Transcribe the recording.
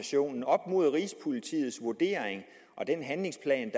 mod rigspolitiets vurdering og den handlingsplan